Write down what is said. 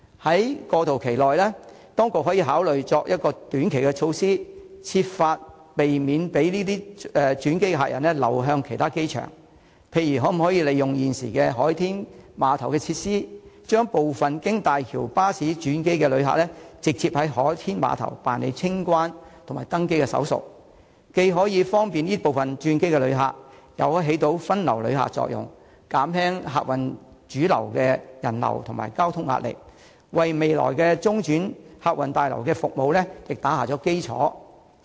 在過渡期內，當局可以考慮採取短期措施，設法避免轉機客人流向其他機場，例如可否利用現時海天碼頭的設施，將部分經大橋巴士轉機的旅客直接在海天碼頭辦理清關和登機手續，既可以方便這部分的轉機旅客，又可發揮分流旅客的作用，減輕客運主樓的人流和交通壓力，為未來的中轉客運大樓的服務打下基礎。